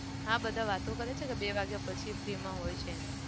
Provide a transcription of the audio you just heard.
હા બધા વાતો કરે છે કે બે વાગ્યા પછી free માં હોય છે એમ.